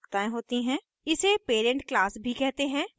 इसे parent class भी कहते हैं